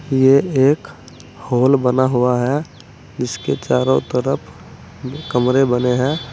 ये एक हॉल बना हुआ है जिसके चारो तरफ कमरे बने है।